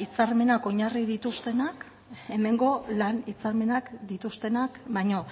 hitzarmenak oinarri dituztenak hemengo lan hitzarmenak dituztenak baino